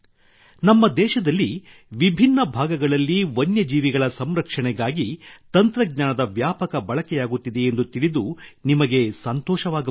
ನಮ್ಮ ದೇಶದಲ್ಲಿ ವಿಭಿನ್ನ ಭಾಗಗಳಲ್ಲಿ ವನ್ಯ ಜೀವಿಗಳ ಸಂರಕ್ಷಣೆಗಾಗಿ ತಂತ್ರಜ್ಞಾನದ ವ್ಯಾಪಕ ಬಳಕೆಯಾಗುತ್ತಿದೆಯೆಂದು ತಿಳಿದು ನಿಮಗೆ ಸಂತೋಷವಾಗಬಹುದು